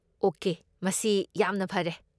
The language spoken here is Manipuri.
ꯑꯣꯀꯦ, ꯃꯁꯤ ꯌꯥꯝꯅ ꯐꯔꯦ꯫